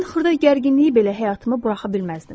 Ən xırda gərginliyi belə həyatıma buraxa bilməzdim.